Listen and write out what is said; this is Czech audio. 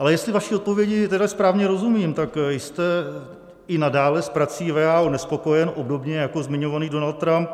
Ale jestli vaší odpovědi tedy správně rozumím, tak jste i nadále s prací WHO nespokojen, obdobně jako zmiňovaný Donald Trump.